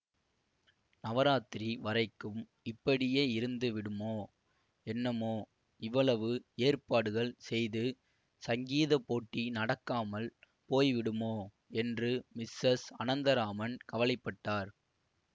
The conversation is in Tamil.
நவராத்திரி வரைக்கும் இப்படியே இருந்து விடுமோ என்னமோ இவ்வளவு ஏற்பாடுகள் செய்து சங்கீதப் போட்டி நடக்காமல் போய் விடுமோ என்று மிஸ்ஸஸ் அனந்தராமன் கவலை பட்டார்